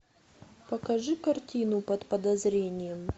покажи картину под подозрением